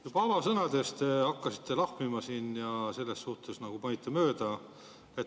Juba avasõnas te hakkasite siin lahmima ja selles suhtes panite mööda.